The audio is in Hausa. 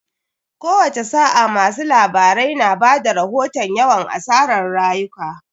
Kowace sa'a, masu labarai na ba da rahoton yawan asarar rayuka.